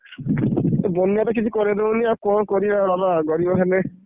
ଇଏ ବନ୍ୟା ତ କିଛି କରେଇଦବନି ଆଉ କଣ କରିବା ଗରିବ ହେଲେ।